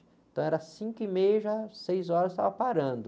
Então era cinco e meia, já, seis horas, estava parando.